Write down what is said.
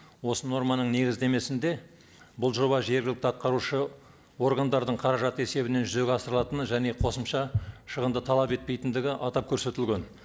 осы норманың негіздемесінде бұл жоба жергілікті атқарушы органдардың қаражаты есебінен жүзеге асырылатыны және қосымша шығынды талап етпейтіндігі атап көрсетілген